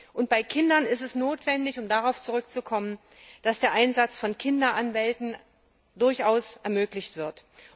Und bei Kinder ist es notwendig um darauf zurückzukommen dass der Einsatz von Kinderanwälten ermöglicht wird.